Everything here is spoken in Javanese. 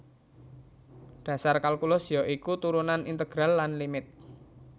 Dhasar kalkulus ya iku turunan integral lan limit